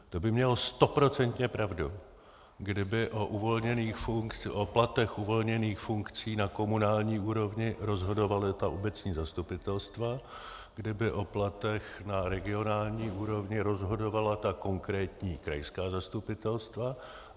To by měl stoprocentně pravdu, kdyby o platech uvolněných funkcí na komunální úrovni rozhodovala ta obecní zastupitelstva, kdyby o platech na regionální úrovni rozhodovala ta konkrétní krajská zastupitelstva.